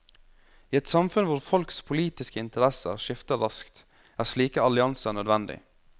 I et samfunn hvor folks politiske interesser skifter raskt, er slike allianser nødvendig.